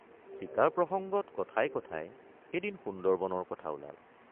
চিকাৰ প্ৰসঙ্গত কথাই কথাই এদিন সুন্দৰবনৰ কথা ওলাল।